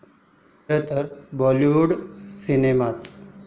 खरंतर बॉलीवूडी सिनेमाच.